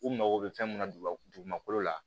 U mago bɛ fɛn mun na dugumakolo la